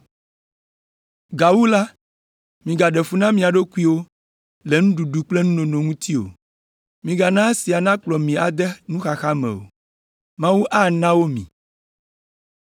Gawu la, migaɖe fu na mia ɖokuiwo le nuɖuɖu kple nunono ŋuti o, migana esia nakplɔ mi ade nuxaxa me o. Mawu ana wo mi.